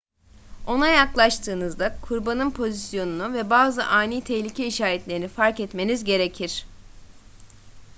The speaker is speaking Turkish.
ona yaklaştığınızda kurbanın pozisyonunu ve bazı ani tehlike işaretlerini fark etmeniz gerekir